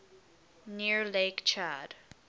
near lake chad